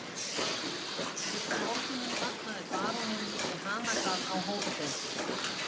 Fyrsta morguninn vaknaði baróninn við hanagal á Hótel